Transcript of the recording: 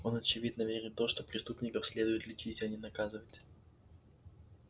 он очевидно верит в то что преступников следует лечить а не наказывать